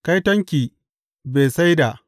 Kaitonki, Betsaida!